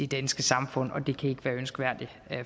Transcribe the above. danske samfund det kan ikke være ønskværdigt